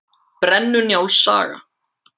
Brennu-Njáls saga.